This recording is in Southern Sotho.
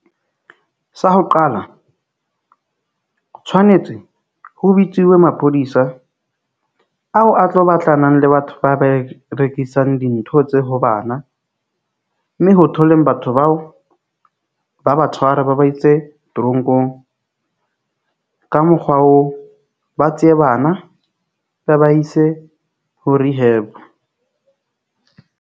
Sa ho qala tshwanetse ho bitsuwe maphodisa ao a tlo batlanang le batho ba be rekisang dintho tse ho bana. Mme ho thwe ho leng batho bao ba ba tshware ba ba itse toronkong. Ka mokgwa oo, ba tsee bana ba ba ise ho rehab.